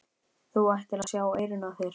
Þú ættir að sjá eyrun á þér!